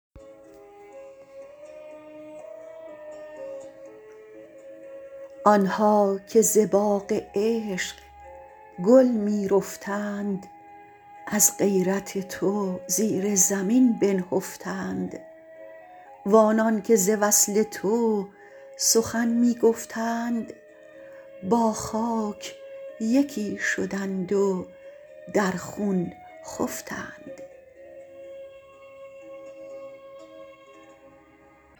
آنها که ز باغ عشق گل میرفتند از غیرت تو زیر زمین بنهفتند و آنان که ز وصل تو سخن میگفتند با خاک یکی شدند و در خون خفتند